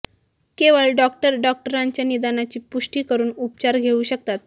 केवळ डॉक्टर डॉक्टरांच्या निदानाची पुष्टी करून उपचार घेऊ शकतात